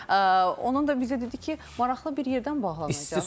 onun da bizə dedi ki, maraqlı bir yerdən bağlanacaq.